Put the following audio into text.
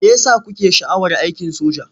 Me ya sa kuke sha'awar aikin soja?